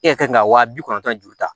E yɛrɛ kan ka wa bi kɔnɔntɔn ju ta